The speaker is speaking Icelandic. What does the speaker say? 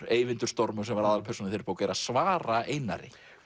Eyvindur stormur sem var aðalpersónan í þeirri bók er að svara Einari